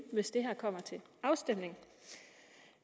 hvis det her kommer til afstemning